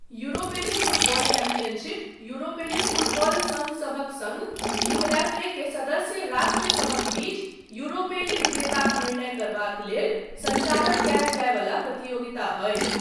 युरोपेली football championship युरोपेली football सङ्घसभक सङ्घ यूऍफ़ए के सदस्य राष्ट्रसभक बीच युरोपेली विजेताक निर्णय करबाक लेल सञ्चालन कयल जाय वला प्रतियोगिता अछि।